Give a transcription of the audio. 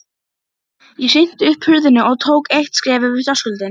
Ég hrinti upp hurðinni og tók eitt skref yfir þröskuldinn.